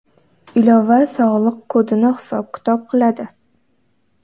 Ilova sog‘liq kodini hisob-kitob qiladi.